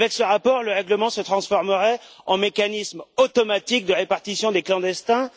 Avec ce rapport, le règlement se transformerait en un mécanisme automatique de répartition des clandestins.